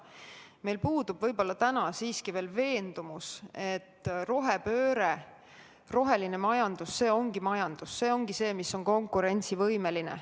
Meil puudub täna siiski veel veendumus, et rohepööre, roheline majandus – see ongi majandus, mis on konkurentsivõimeline.